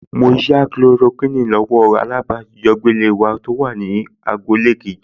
Màá yá Kulorokíìnì lọ́wọ́ alájọbágbé wa tó wà ní agboolé kejì